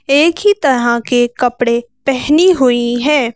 एक ही तरह के कपड़े पहनी हुई है।